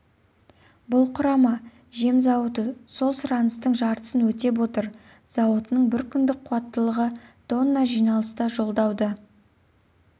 бұл құрама жем зауыты сол сұраныстың жартысын өтеп отыр зауытының бір күндік қуаттылығы тонна жиналыста жолдауды